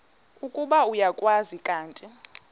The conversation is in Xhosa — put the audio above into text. ukuba uyakwazi kanti